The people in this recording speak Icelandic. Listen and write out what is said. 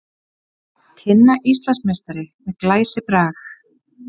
Tinna Íslandsmeistari með glæsibrag